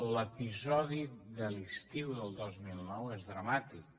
l’episodi de l’estiu del dos mil nou és dramàtic